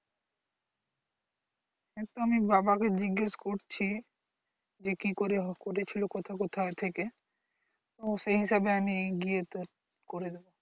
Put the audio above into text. সেটা আমি বাবাকে জিগেস করছি যে কি করে করেছিল কথো কোথায় থেকে উম সেই হিসাবে আমি গিয়ে তোর করে দেব